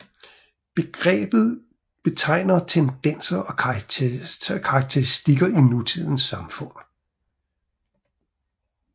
Begrebet betegner tendenser og karakteristikker i nutidens samfund